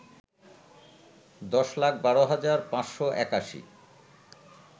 ১০ লাখ ১২ হাজার ৫৮১